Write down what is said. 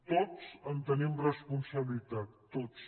tots en tenim responsabilitat tots